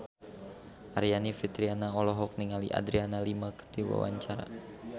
Aryani Fitriana olohok ningali Adriana Lima keur diwawancara